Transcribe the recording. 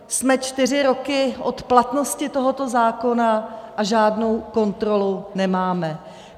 Jsme čtyři roky od platnosti tohoto zákona a žádnou kontrolu nemáme.